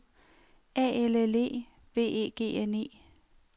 A L L E V E G N E